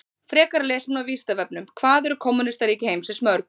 Frekara lesefni á Vísindavefnum: Hvað eru kommúnistaríki heimsins mörg?